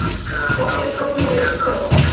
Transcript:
Þeir byrja formlega í kvöld.